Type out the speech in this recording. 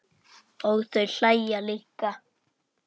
Og þau hlæja líka.